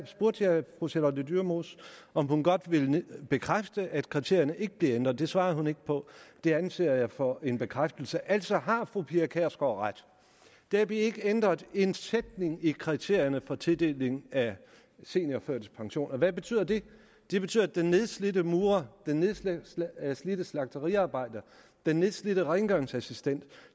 spurgte jeg fru charlotte dyremose om hun godt ville bekræfte at kriterierne ikke bliver ændret det svarede hun ikke på det anser jeg for en bekræftelse altså har fru pia kjærsgaard ret der bliver ikke ændret en sætning i kriterierne for tildeling af seniorførtidspension og hvad betyder det det betyder at den nedslidte murer den nedslidte slagteriarbejder den nedslidte rengøringsassistent